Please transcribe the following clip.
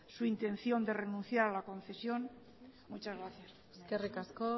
su intención de renuncias a la concesión muchas gracias eskerrik asko